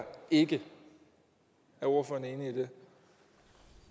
ikke i det